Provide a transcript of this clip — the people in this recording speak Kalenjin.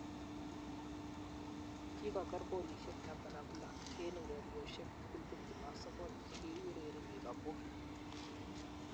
Kigoger golishek tamam ak lo, eng' ureryoshek tugul 29 che ki ureree liverpool